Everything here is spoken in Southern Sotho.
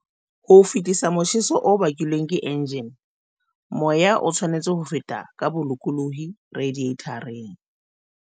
Ho fetisa motjheso o bakilweng ke enjjine, moya o tshwanetse ho feta ka bolokolohi radiathareng.